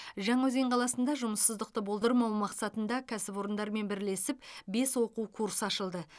жаңаөзен қаласында жұмыссыздықты болдырмау мақсатында кәсіпорындармен бірлесіп бес оқу курсы ашылды